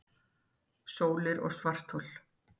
Sólir og svarthol